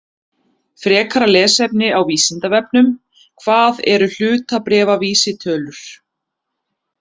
Frekara lesefni á Vísindavefnum: Hvað eru hlutabréfavísitölur?